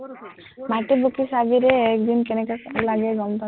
মাইকটোত ফুকি চাবিৰে, এক দিন কেনেকা লাগে গম পাবি